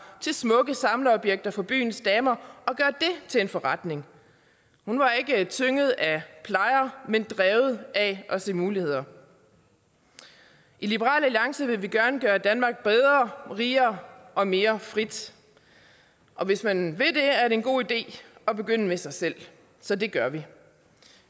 til smukke samlerobjekter for byens damer og til en forretning hun var ikke tynget af plejer men drevet af at se muligheder i liberal alliance vil vi gerne gøre danmark bedre rigere og mere frit og hvis man vil det er det en god idé at begynde med sig selv så det gør vi